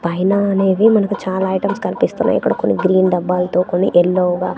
పైన అనేది మనకు చాలా ఐటమ్స్ కనిపిస్తున్నాయి ఇక్కడ కొన్ని గ్రీన్ డబ్బాలతో కొన్ని ఎల్లో గా .